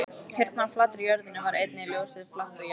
Hérna á flatri jörðinni var einnig ljósið flatt og jarðbundið.